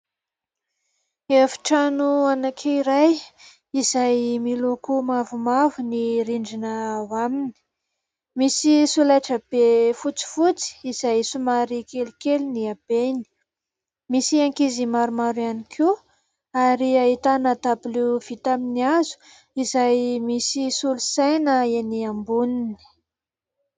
Efitrano anankiray izay miloko mavomavo ny rindrina ao aminy. Misy solaitra be fotsifotsy izay somary kelikely ny habeny. Misy ankizy maromaro ihany koa ary ahitana dabilo vita amin'ny hazo izay misy solosaina eny amboniny.